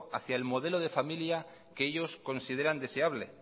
hacia el modelo de familia que ellos consideran deseable